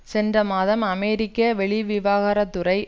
சென்ற மாதம் அமெரிக்க வெளிவிவகாரத்துறை